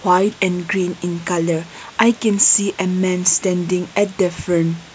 white and green in colour I can see a man standing at the front.